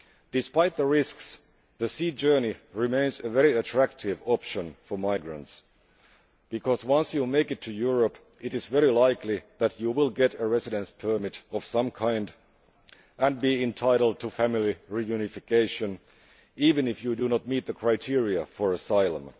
Despite the risks, the sea journey remains a very attractive option for migrants, because once you make it to Europe it is very likely that you will get a residence permit of some kind and be entitled to family reunification, even if you do not meet the criteria for asylum.